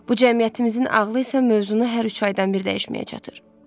Bu cəmiyyətimizin ağlı isə mövzunu hər üç aydan bir dəyişməyə çatır.